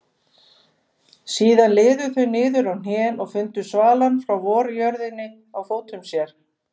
Síðan liðu þau niður á hnén og fundu svalann frá vorjörðinni á fótum sínum.